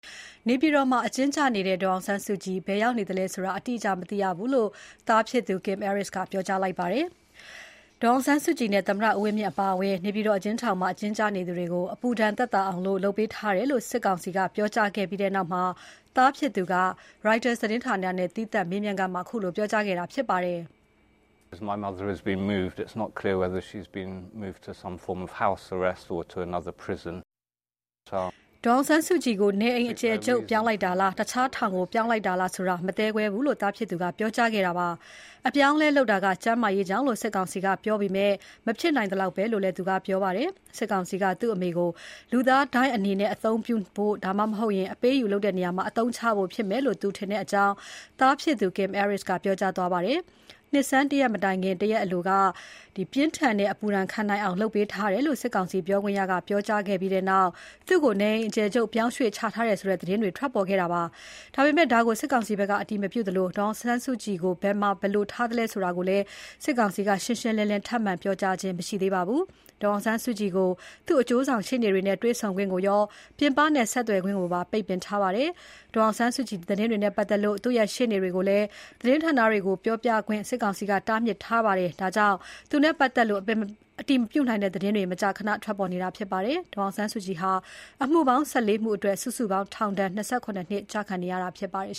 နေပြည်တော်မှာ အကျဉ်းကျနေတဲ့ ဒေါ်အောင်ဆန်းစုကြည် ဘယ်ရောက်နေသလဲဆိုတာ ရှင်းရှင်းလင်းလင်း မသိရဘူးလို့ ဒေါ်အောင်ဆန်းစုကြည်ရဲ့သားဖြစ်သူ Kim Aris ကပြောကြားလိုက်ပါတယ်။ ဒေါ်အောင်ဆန်းစုကြည်နဲ့ သမ္မတဦးဝင်းမြင့်အပါအဝင် နေပြည်တော်အကျဉ်းထောင်မှာ အကျဉ်းကျနေသူတွေကို အပူဒဏ်သက်သာအောင် လုပ်ပေးထားတယ်လို့ စစ်ကောင်စီက ပြောကြားခဲ့ပြီးနောက် သားဖြစ်သူက Reuters သတင်းဌာနနဲ့ သီးသန့်မေးမြန်းခန်းမှာ ပြောကြားခဲ့တာဖြစ်ပါတယ်။ ဒေါ်အောင်ဆန်းစုကြည်ကို နေအိမ်အကျယ်ချုပ် ပြောင်းလိုက်တာလား။ တခြားထောင်ကို ပြောင်းလိုက်တာလားဆိုတာ မသဲကွဲဘူးလို့ သားဖြစ်သူက ပြောကြားခဲ့တာပါ။ အပြောင်းအလဲလုပ်တာက ကျန်းမာရေးကြောင့်လို့ စစ်ကောင်စီက ပြောပေမဲ့ မဖြစ်နိုင်သလောက်ပဲလို့လည်းပြောပါတယ်။ သူတို့အနေနဲ့ သူ့အမေကို လူသားဒိုင်းအနေနဲ့ အသုံးပြုဖို့ ဒါမှမဟုတ် အပေးအယူလုပ်တဲ့နေရာမှာ အသုံးချဖို့ဖြစ်မယ်လို့ သူထင်ကြောင်း သားဖြစ်သူ Kim Aris က ပြောကြားသွားတာဖြစ်ပါတယ်။ မြန်မာနှစ်ဆန်းတရက် မတိုင်ခင် တရက်အလိုက ပြင်းထန်တဲ့ အပူဒဏ် ခံနိုင်အောင် လုပ်ပေးထားတယ်လို့ စစ်ကောင်စီ ပြောခွင့်ရက ပြောကြားခဲ့ပြီးနောက် သူ့ကို နေအိမ်အကျယ်ချုပ်ပြောင်းရွှေ့ချထားတယ်ဆိုတဲ့ သတင်းတွေ ထွက်ပေါ်ခဲ့တာဖြစ်ပါတယ်။ ဒါပေမဲ့ ဒါကို စစ်ကောင်စီဘက်က အတည်မပြုသလို ဒေါ်အောင်ဆန်းစုကြည်ကို ဘယ်မှာ ဘယ်လို ထားသလဲဆိုတာကိုလည်း စစ်ကောင်စီက ရှင်းရှင်းလင်းလင်း ထပ်မံပြောကြားခြင်း မရှိသေးပါဘူး။ ဒေါ်အောင်ဆန်းစုကြည်ကို သူ့အကျိုးဆောင်ရှေ့နေတွေနဲ့ တွေ့ဆုံခွင့်ကိုရော ပြင်ပနဲ့ ဆက်သွယ်ခွင့်ကိုပါ ပိတ်ပင်ထားပါတယ်။ ဒေါ်အောင်ဆန်းစုကြည်သတင်းတွေနဲ့ပတ်သက်လို့ သူ့ရဲ့ ရှေ့နေတွေကိုလည်း သတင်းဌာနတွေကို ပြောပြခွင့် စစ်ကောင်စီက ပိတ်ပင်ထားပါတယ်။ ဒါကြောင့် သူနဲ့ပတ်သက်လို့ အတည်မပြုနိုင်တဲ့သတင်းတွေ မကြာခဏ ထွက်ပေါ်နေတာဖြစ်ပါတယ်။ ဒေါ်အောင်ဆန်းစုကြည်ဟာ အမှုပေါင်း ၁၄ မှုအတွက် စုစုပေါင်း ထောင်ဒဏ် ၂၇ နှစ်ကျခံနေရတာဖြစ်ပါတယ်